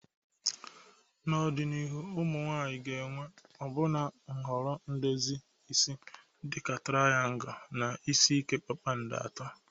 N'ọdịnihu, ụmụ nwanyị ga-enwe ọbụna nhọrọ edozi isi dị ka triangu na isi ike kpakpando atọ.